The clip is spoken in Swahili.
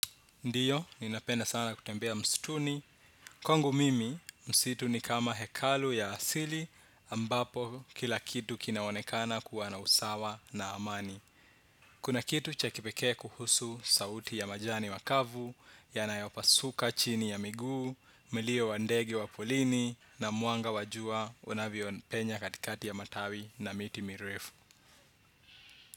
Ndiyo, ninapenda sana kutembea msituni. Kwangu mimi, msitu ni kama hekalu ya asili ambapo kila kitu kinaonekana kuwa na usawa na amani. Kuna kitu cha kipekee kuhusu sauti ya majani makavu, yanayopasuka chini ya miguu, milio wa ndege waporini, na mwanga wajua unavyo penya katikati ya matawi na miti mirefu.